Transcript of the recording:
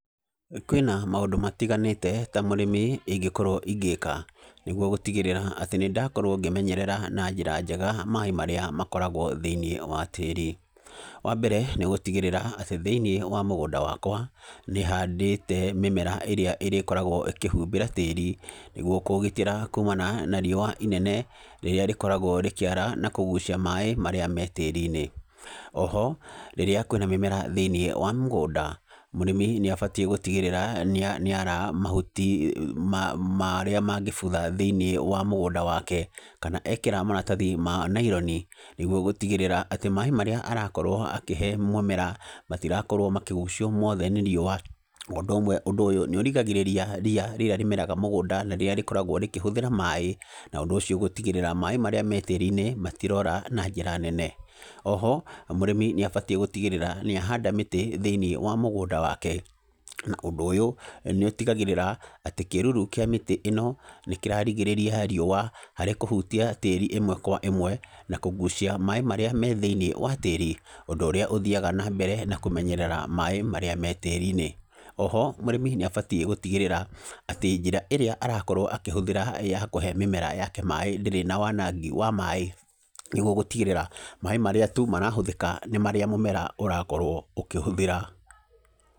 Kwĩna maũndũ matiganĩte ta mũrĩmi ingĩkorwo ingĩka, nĩguo gũtigĩrĩra atĩ nĩ ndakorwo ngĩmenyerera na njĩra njega maaĩ marĩa makoragwo thĩiniĩ wa tĩri. Wa mbere, nĩ gũtigĩrĩra atĩ thĩiniĩ wa mũgũnda wakwa, nĩ handĩte mĩmera ĩrĩa ĩrĩkoragwo ĩkĩhumbĩra tĩri, nĩguo kũũgitĩra kumana na riũa inene, rĩrĩa rĩkoragwo rĩkĩara na kũgucia maĩ marĩa me tĩri-inĩ. Oho, rĩrĩa kwĩna mĩmera thĩiniĩ wa mũgũnda, mũrĩmi nĩ abatiĩ gũtigĩrĩra, nĩ nĩ ara mahuti marĩa mangĩbutha thĩiniĩ wa mũgũnda wake. Kana ekĩra maratathi ma naironi, nĩguo gũtigĩrĩra atĩ, maaĩ marĩa arakorwo akĩhe mũmera, matirakorwo makĩgucio mothe nĩ riũa. Ũndũ ũmwe, ũndũ ũyũ nĩ ũrigagĩrĩria ria rĩrĩa rĩmeraga mũgũnda, na rĩrĩa rĩkoragwo rĩkĩhũthĩra maaĩ, na ũndũ ũcio gũtigĩrĩra maaĩ marĩa me tĩri-inĩ matirora na njĩra nene. Oho, mũrĩmi nĩ abatiĩ gũtigĩrĩra nĩ ahanda mĩtĩ thĩiniĩ wa mũgũnda wake, na ũndũ ũyũ, nĩ ũtigagĩrĩra, atĩ kĩruru kĩa mĩtĩ ĩno, nĩ kĩrarigĩrĩria riũa, harĩ kũhutia tĩri ĩmwe kwa ĩmwe, na kũgucia maaĩ marĩa me thĩiniĩ wa tĩri, ũndũ ũrĩa ũthiaga na mbere na kũmenyerera maaĩ marĩa me tĩri-inĩ. Oho, mũrĩmi nĩ abatiĩ gũtigĩrĩra, atĩ njĩra ĩrĩa arakorwo akĩhũthĩra ya kũhe mĩmera yake maaĩ ndĩrĩ na wanangi wa maaĩ, nĩguo gũtigĩrĩra, maaĩ marĩa tu marahũthĩka, nĩ marĩa mũmera ũrakorwo ũkĩhũthĩra.